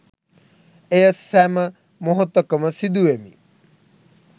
එය සැම මොහොතකම සිදු වෙමි